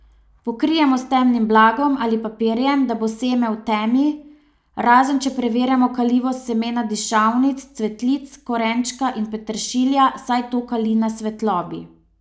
Pokrijemo s temnim blagom ali papirjem, da bo seme v temi, razen če preverjamo kalivost semena dišavnic, cvetlic, korenčka in peteršilja, saj to kali na svetlobi.